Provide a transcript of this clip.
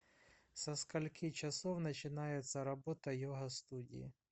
со скольки часов начинается работа йога студии